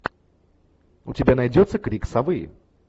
у тебя найдется крик совы